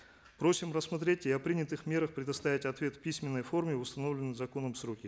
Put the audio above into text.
просим рассмотреть и о принятых мерах предоставить ответ в письменной форме в установленные законом сроки